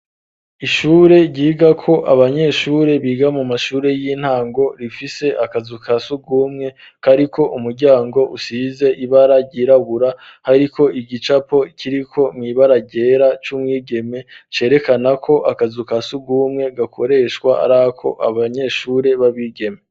Ishure ryigako abanyeshure biga mu mashure y'intango rifise akazu kasugumwe kariko umuryango usize ibara ryirabura hariko igicapo kiriko mwibara ryera c'umwigeme cerekanako akazu kasugumwe gakoreshwa ari ak'abanyeshure babigeme.